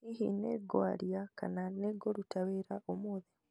Hihi nĩ ngwaria kana nĩ nguruta wira umuthi